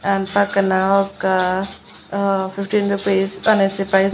ఆ పక్కన ఒక్క అహ్ ఆ ఫిఫ్టీన్ రుపీస్ అనేసి ప్రైస్ --